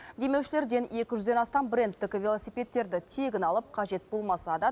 демеушілерден екі жүзден астам брендтік велосипедтерді тегін алып қажет болмаса да